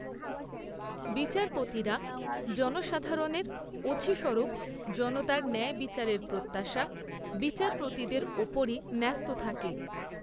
বিচারপতীরা জনসাধারণের অছিস্বরূপ জনতার ন্যায়বিচারের প্রত্যাশা বিচারপতিদের উপরই ন্যস্ত থাকে